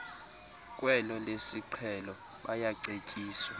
kwelo lesiqhelo bayacetyiswa